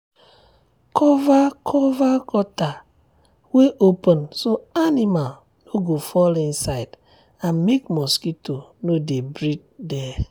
cover cover gutter wey open so animal no go fall inside and make mosquito no dey breed there.